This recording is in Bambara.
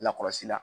Lakɔlɔsi la